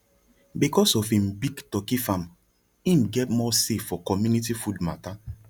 because of him big turkey farm him get more say for community food matter